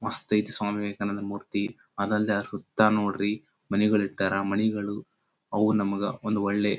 ಮಸ್ತ್ ಐತಿ ಸ್ವಾಮಿ ವಿವೇಕಾನಂದ ಮೂರ್ತಿ ಅದಲ್ದೆ ಸುತ್ತ ನೋಡ್ರಿ ಮನೆಗಳಿರ್ತವ ಮನೆಗಳು ಅವು ನಮಗ ಒಂದು ಒಳ್ಳೆ --